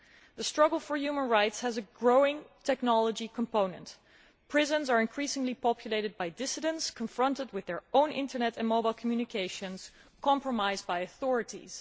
The struggle for human rights has a growing technology component prisons are increasingly populated by dissidents confronted with their own Internet and mobile communications having been compromised by the authorities.